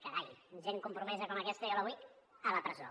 carai gent compromesa com aquesta jo la vull a la presó